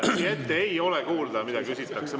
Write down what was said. Siia ette ei ole kuulda, mida küsitakse.